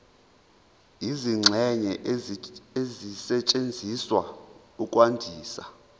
izingxenye ezisetshenziswa ukwandisa